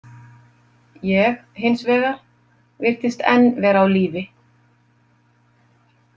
Ég, hins vegar, virtist enn vera á lífi.